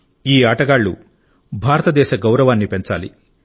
ఈ ఆటగాళ్ళు భారతదేశ గౌరవాన్ని పెంచాలి